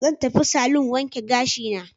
Zan tafi salon wanke gashina.